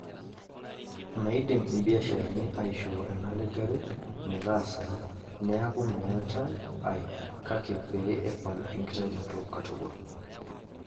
Meidim mbiasharani aishoo ena lejare metaasai neeku meeta ae kake pee epal enkitainoto katukul.